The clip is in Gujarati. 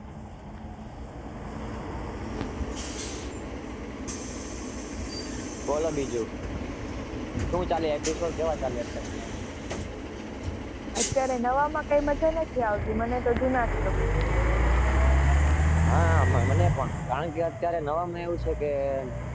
બોલો બીજું